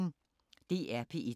DR P1